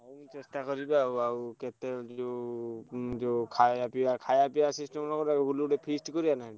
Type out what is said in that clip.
ହଉ ମୁଁ ଚେଷ୍ଟା କରିବି ଆଉ ଆଉ କେତେ ଯୋଉ ଯୋଉ ଖାୟା ପିଆ feast କରିଆ ନା?